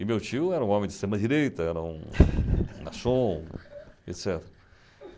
E meu tio era um homem de externa direita, era um garçom, etc.